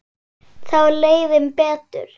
Þá leið þeim betur